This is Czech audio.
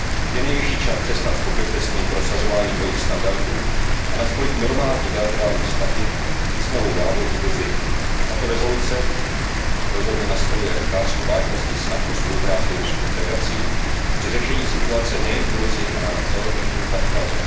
Je nejvyšší čas přestat s pokrytectvím, prosazováním dvojích standardů a nastolit normální bilaterální vztahy i s novou vládou v Gruzii. Tato rezoluce rozhodně nastoluje otázku vážnosti snah o spolupráci s Ruskou federací při řešení situace nejen v Gruzii, ale na celém jižním Kavkaze.